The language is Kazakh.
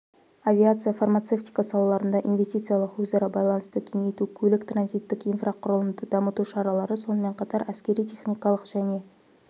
авиация фармацевтика салаларында инвестициялық өзара байланысты кеңейту көлік-транзиттік инфрақұрылымды дамыту шаралары сонымен қатар әскери-техникалық және